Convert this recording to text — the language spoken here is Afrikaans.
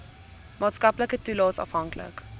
maatskaplike toelaes afhanklik